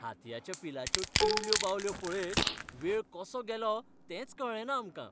हातयाच्या पिलाच्यो टिवल्यो बावल्यो पळयत वेळ कसो गेलो तेंच कळ्ळेंना आमकां.